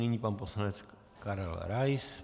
Nyní pan poslanec Karel Rais.